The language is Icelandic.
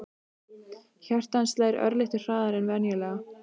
Hjarta hans slær örlitlu hraðar en venjulega.